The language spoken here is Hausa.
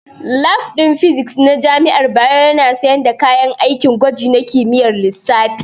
Lab ɗin Physics na jami'ar Bayero yana sanye da kayan aikin gwaji na kimiyyar lissafi.